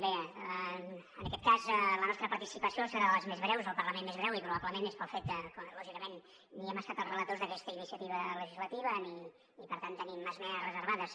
bé en aquest cas la nostra participació serà de les més breus el parlament més breu i probablement és pel fet que lògicament ni hem estat els relators d’aquesta iniciativa legislativa ni per tant tenim esmenes reservades